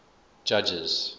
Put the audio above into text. judges